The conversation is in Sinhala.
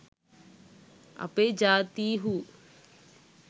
අපේ ජාතීහු